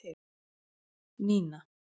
Nína